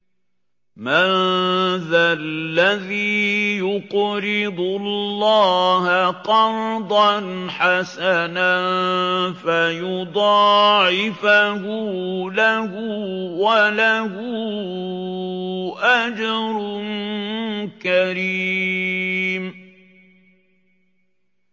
مَّن ذَا الَّذِي يُقْرِضُ اللَّهَ قَرْضًا حَسَنًا فَيُضَاعِفَهُ لَهُ وَلَهُ أَجْرٌ كَرِيمٌ